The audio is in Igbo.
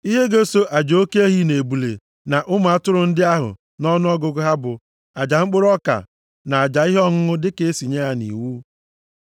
Ihe ga-eso aja oke ehi na ebule na ụmụ atụrụ ndị ahụ nʼọnụọgụgụ ha bụ aja mkpụrụ ọka na aja ihe ọṅụṅụ dịka e si nye ya nʼiwu.